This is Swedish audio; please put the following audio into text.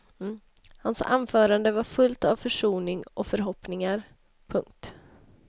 Hans anförande var fullt av försoning och förhoppningar. punkt